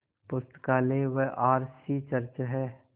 पुस्तकालय व R C church हैं